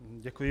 Děkuji.